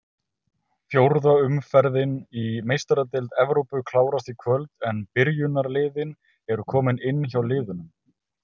Fjórða umferðin í Meistaradeild Evrópu klárast í kvöld en byrjunarliðin eru komin inn hjá liðunum.